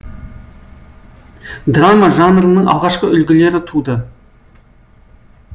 драма жанрының алғашқы үлгілері туды